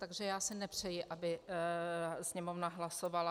Takže já si nepřeji, aby Sněmovna hlasovala.